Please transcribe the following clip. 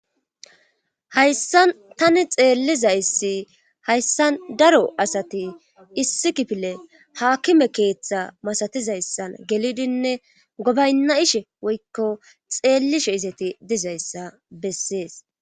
hayssan tani xeellizayssi hayssan daro asati issi kifile haakime keeththa masatizayssan gelidinne gobaynna'ishe woykko xeellishe izeti dizayssa bessees